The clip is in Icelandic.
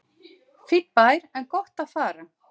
Fínn bær en gott að fara